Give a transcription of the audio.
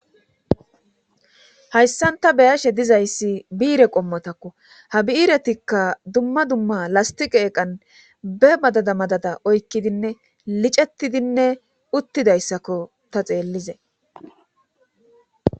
hayssan ta be7ashe dizayssi biire qommotakko ha bi7iretikka dumma dumma lastiqa eeqan be madada madada oykkidinne licettidinne uttidayssakko ta xeellizay